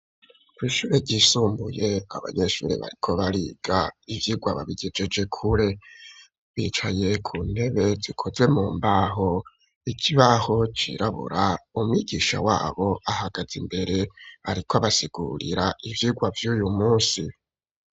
Kw'ishure ryisumbuye abanyeshuri bariko bariga ivyigwa babigejeje kure, bicaye ku ntebe zikozwe mu mbaho, ikibaho cirabura umwigisha wabo ahagaz'imbere ariko abasigurira ivyigwa vy'uy'umunsi.